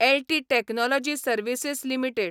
L T technology services limited